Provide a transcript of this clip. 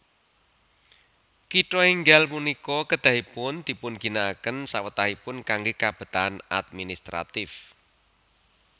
Kitha enggal punika kedahipun dipunginakaken sawetahipun kangge kabetahan administratif